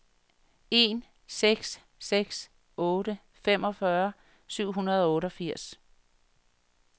en seks seks otte femogfyrre syv hundrede og otteogfirs